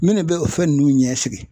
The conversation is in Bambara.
Minnu bɛ o fɛn ninnu ɲɛsigi